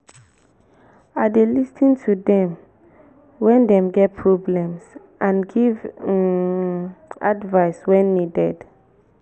i dey dey lis ten to dem wen dem get problems and give um advice when needed.